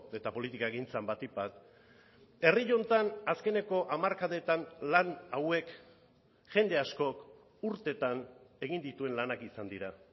eta politikagintzan batik bat herri honetan azkeneko hamarkadetan lan hauek jende askok urtetan egin dituen lanak izan dira